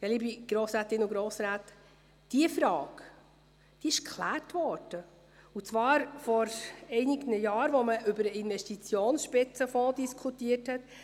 Liebe Grossrätinnen und Grossräte, diese Frage wurde geklärt, und zwar vor einigen Jahren, als man über den Investitionsspitzenfonds diskutierte.